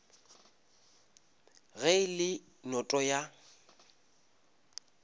ge e le noto ya